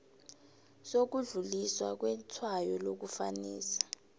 sokudluliswa kwetshwayo lokufanisa